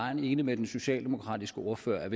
vejen enig med den socialdemokratiske ordfører i